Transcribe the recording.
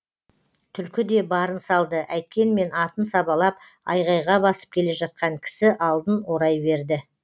түлкі де барын салды әйткенмен атын сабалап айғайға басып келе жатқан кісі алдын орай берді